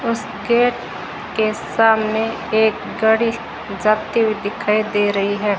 उस गेट के सामने एक गढ़ी जाती हुई दिखाई दे रही है।